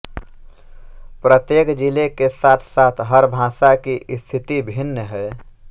प्रत्येक जिले के साथसाथ हर भाषा की स्थिति भिन्न है